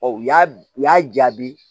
u y'a u y'a jaabi